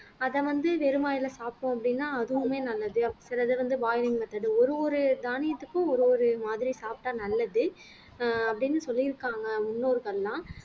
அத வந்து வெறும் வாயில சாப்பிட்டோம் அப்படின்னா அதுவுமே நல்லது சிலது வந்து boiling method ஒரு ஒரு தானியத்துக்கும் ஒரு ஒரு மாதிரி சாப்பிட்டா நல்லது ஆஹ் அப்படின்னு சொல்லி இருக்காங்க முன்னோர்கள்லாம்